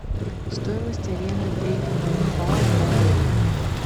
стоимость аренды трекинговых палок в отеле